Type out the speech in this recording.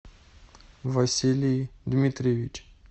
василий дмитриевич